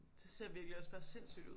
Det ser virkelig også bare sindssygt ud